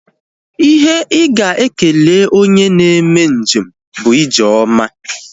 Ihe ị ga-ekele onye na-eme njem bụ ije ọma